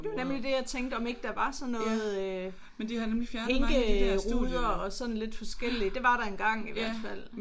Nemlig det jeg tænkte om ikke der var sådan noget øh hinkeruder og sådan lidt forskelligt. Det var der engang i hvert fald